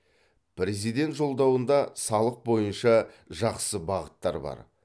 президент жолдауында салық бойынша жақсы бағыттар бар